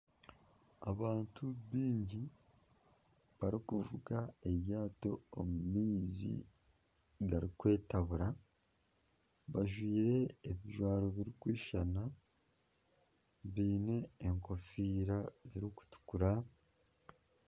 Abantu bingi barikuvuga eryato omu maizi garikwetabura bajwaire ebijwaro birikwishana baine enkofiira zirikutukura